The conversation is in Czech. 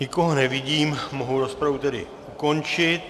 Nikoho nevidím, mohu rozpravu tedy ukončit.